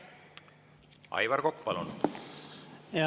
Aivar Kokk, palun!